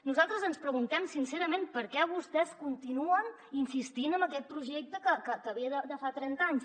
nosaltres ens preguntem sincerament per què vostès continuen insistint en aquest projecte que ve de fa trenta anys